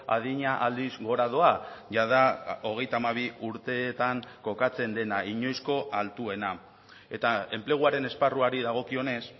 adina aldiz gora doa jada hogeita hamabi urteetan kokatzen dena inoizko altuena eta enpleguaren esparruari dagokionez